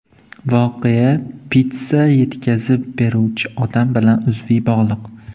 Voqea pitssa yetkazib beruvchi odam bilan uzviy bog‘liq.